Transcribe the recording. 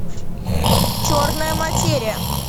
черная материя